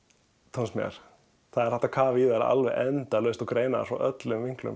tónsmíðar það er hægt að kafa í þær endalaust og greina þær frá öllum vinklum